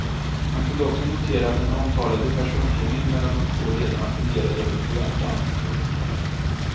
Man kunde också notera att den omtalade personkemin mellan de två ledarna fungerade över förväntan. punkt